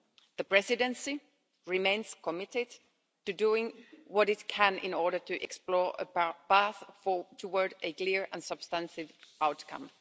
The Presidency remains committed to doing what it can in order to explore a path towards a clear and substantive outcome.